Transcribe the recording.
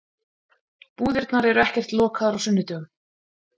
Búðirnar eru ekkert lokaðar á sunnudögum.